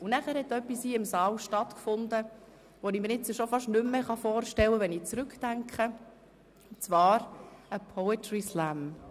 Anschliessend fand in diesem Saal etwas statt, das ich mir jetzt schon fast nicht mehr vorstellen kann, wenn ich zurückdenke, und zwar ein Poetry Slam.